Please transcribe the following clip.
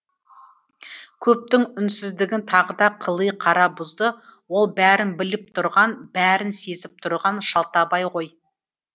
көптің үнсіздігін тағы да қыли қара бұзды ол бәрін біліп тұрған бәрін сезіп тұрған шалтабай ғой